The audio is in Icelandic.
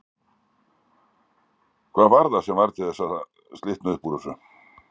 Hvað var það sem varð til þess að slitnaði upp úr þessu?